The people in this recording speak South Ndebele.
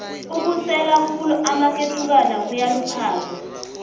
ukusela khulu amaketukwana kuyaluphaza